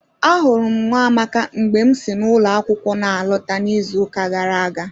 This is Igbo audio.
Ahụrụ m Nwamaka mgbe m si n'ụlọ akwụkwọ na alọta n'izuụka gara aga